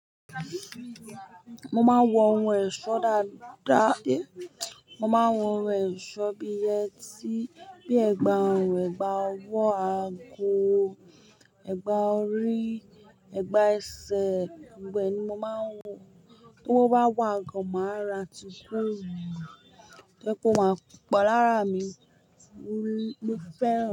Mo máa ń wọ ohun ẹ̀ṣọ́ dáadáa. Mo máa ń wọ ohun ẹ̀ṣọ́ bíi ẹtí, bí i ẹ̀gbà ọrùn, ẹ̀gbà ọwọ́, aago, ẹ̀gbà orí, ẹ̀gbà ẹsẹ̀. Gbogbo ẹni mo máa ń wọ, ti owo bá wà gan, màá ra tì goolu to je ó máa po lara mi. Mo fẹ́ran.